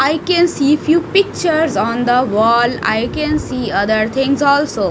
i can see few pictures on the wall i can see other things also.